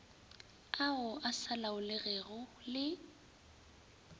ao a sa laolegego le